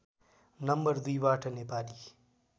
number दुईबाट नेपाली